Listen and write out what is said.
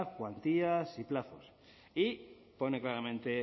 cuantías y plazos y pone claramente